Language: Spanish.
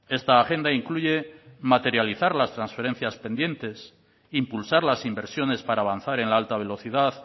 esta agenda incluye materializar las trasferencias pendientes impulsar las inversiones para avanzar en la alta velocidad